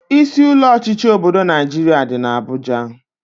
Isi ụlọ ọchịchị obodo Naijiria dị n'Abuja